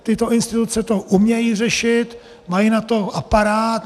Tyto instituce to umějí řešit, mají na to aparát.